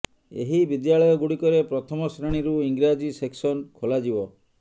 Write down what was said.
ଏହି ବିଦ୍ୟାଳୟ ଗୁଡିକରେ ପ୍ରଥମ ଶ୍ରେଣୀରୁ ଇଂରାଜୀ ସେକ୍ସନ ଖୋଲାଯିବ